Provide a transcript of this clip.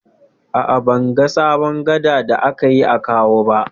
A'a, ban ga sabon gada da aka yi a Kawo ba.